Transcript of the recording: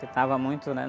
Porque estava muito, né?